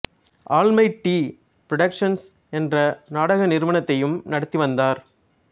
all my T productions என்ற நாடக நிறுவனத்தையும் நடத்தி வந்தார்